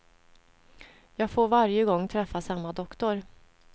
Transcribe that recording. Jag får varje gång träffa samma doktor.